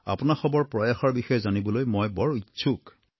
আপোনাসৱৰ প্ৰয়াসৰ বিষয়ে জানিবলৈ মই বৰ ইচ্ছুক